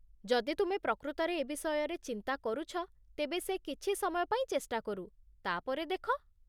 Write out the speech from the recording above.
ଯଦି ତୁମେ ପ୍ରକୃତରେ ଏ ବିଷୟରେ ଚିନ୍ତା କରୁଛ ତେବେ ସେ କିଛି ସମୟ ପାଇଁ ଚେଷ୍ଟା କରୁ, ତା'ପରେ ଦେଖ।